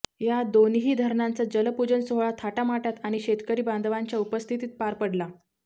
या दोन्हीही धरणांचा जलपुजन सोहळा थाटामाटात आणी शेतकरी बांधवांच्या उपस्थित पार पडला